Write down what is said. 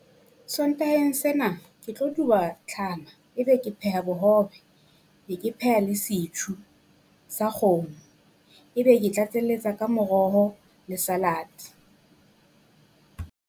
Sontaheng sena ke tlo duba tlhama ebe ke pheha bohobe. Be ke pheha le sa kgomo, ebe ke tlatselletsa ka moroho le salad.